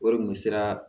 Wari kun sera